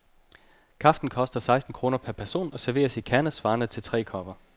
Kaffen koster seksten kroner per person og serveres i kande, svarende til tre kopper.